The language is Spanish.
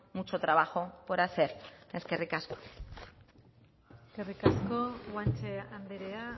mucho trabajo por hacer eskerrik asko eskerrik asko guanche andrea